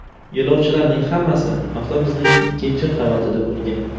Yo‘lovchilarning hammasi avtobusning ikkinchi qavatida bo‘lgan.